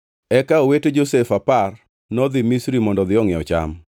Eka owete Josef apar nodhi Misri mondo odhi ongʼiew cham.